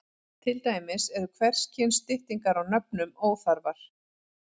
Til dæmis eru hvers kyns styttingar á nöfnum óþarfar.